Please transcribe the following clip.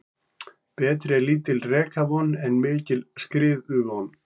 Betri er lítil rekavon en mikil skriðuvon.